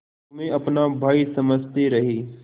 तुम्हें अपना भाई समझते रहे